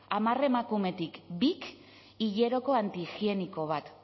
hamar emakumetik bik hileroko antihigieniko bat